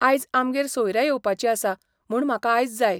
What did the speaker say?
आयज आमगेर सोयऱ्या येवपाची आसा म्हणून म्हाका आयज जाय